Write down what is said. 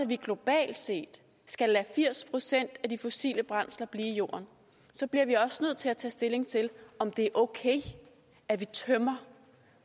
vi globalt set skal lade firs procent af de fossile brændsler blive i jorden bliver vi også nødt til at tage stilling til om det er okay at vi tømmer